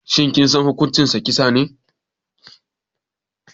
Shin kisan kai hukuncinsa kisa ne?